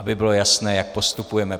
Aby bylo jasné, jak postupujeme.